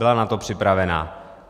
Byla na to připravena.